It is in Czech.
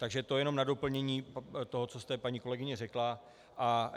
Takže to jen na doplnění toho, co jste, paní kolegyně, řekla.